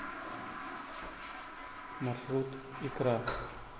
маршрут икра